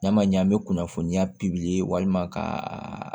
N'a ma ɲɛ an bɛ kunnafoniya walima ka